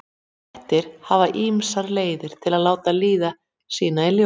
Kettir hafa ýmsar leiðir til að láta líðan sína í ljós.